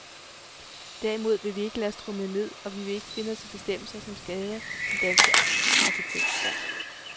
Derimod vil vi ikke lade os tromle ned og vi vil ikke finde os i bestemmelser som skader den danske arkitektstand.